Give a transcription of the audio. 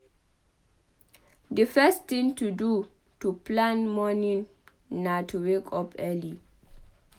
Di first thing to do to plan morning na to wake up early